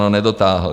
No, nedotáhl.